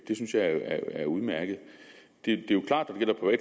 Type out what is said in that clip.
det synes jeg er udmærket det er jo klart